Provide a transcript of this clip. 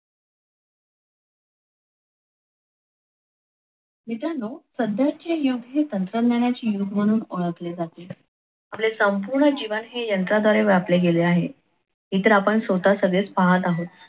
मित्रांनो सध्याचे युग हे तंत्रज्ञानाचे युग म्हणून ओळखले जाते. आपले संपूर्ण जीवन हे यंत्र द्वारा व्यापले गेले आहे, हे तर आपण स्वतः सगळेच पाहत आहोत.